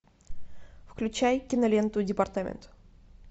включай киноленту департамент